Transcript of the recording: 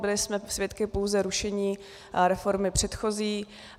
Byli jsme svědky pouze rušení reformy předchozí.